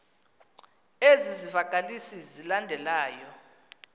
ezi zivakalisi zilandelayo